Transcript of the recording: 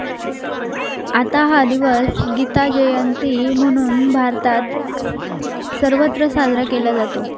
आता हा दिवस गीताजयंती म्हणून, भारतात सर्वत्र साजरा केला जातो.